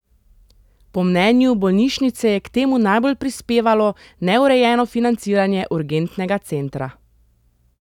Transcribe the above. Po mnenju bolnišnice je k temu najbolj prispevalo neurejeno financiranje urgentnega centra.